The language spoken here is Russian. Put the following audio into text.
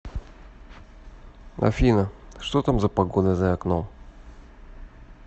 афина что там за погода за окном